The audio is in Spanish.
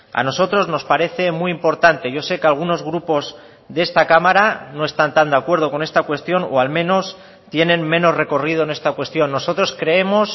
a nosotros nos parece muy importante yo sé que algunos grupos de esta cámara no están tan de acuerdo con esta cuestión o al menos tienen menos recorrido en esta cuestión nosotros creemos